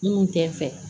Minnu tɛ fɛ